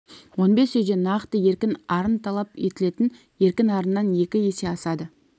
он бес үйде нақты еркін арын талап етілетін еркін арыннан екі есе асады